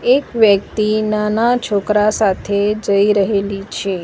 એક વ્યક્તિ નાના છોકરા સાથે જઇ રહેલી છે.